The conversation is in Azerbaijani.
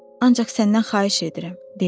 Ancaq səndən xahiş edirəm" dedim.